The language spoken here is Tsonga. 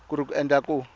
ku ri ku endlela ku